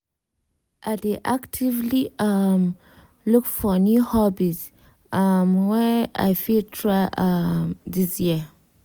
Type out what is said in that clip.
i dey actively um look for new hobbies um wey i fit try um this year.